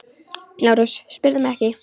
LÁRUS: Spyrðu mig ekki!